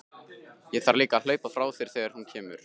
Ég þarf líka að hlaupa frá þér þegar hún kemur.